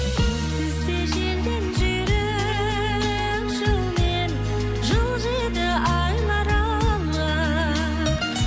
сенсіз де желден жүйрік жылмен жылжиды айлар алға